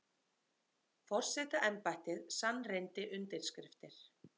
Forsetaembættið sannreyndi undirskriftir